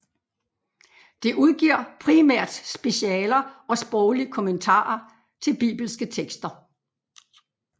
Det udgiver primært specialer og sproglige kommentarer til bibelske tekster